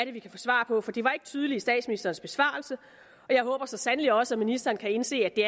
er vi kan få svar på for det var ikke tydeligt i statsministerens besvarelse jeg håber så sandelig også at ministeren kan indse at det